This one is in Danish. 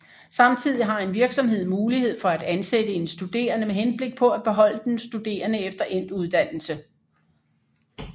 Samtidig har en virksomhed mulighed for at ansætte en studerende med henblik på at beholde den studerende efter endt uddannelse